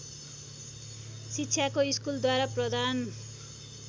शिक्षाको स्कूलद्वारा प्रदान